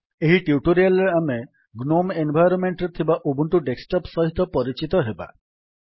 ଏହି ଟ୍ୟୁଟୋରିଆଲ୍ ରେ ଆମେ ଗ୍ନୋମ୍ ଏନଭାୟରମମେଣ୍ଟ୍ ରେ ଥିବା ଉବୁଣ୍ଟୁ ଡେସ୍କଟପ୍ ସହିତ ପରିଚିତ ହେବା